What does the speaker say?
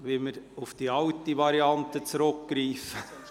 Müssen wir auf die alte Variante zurückgreifen?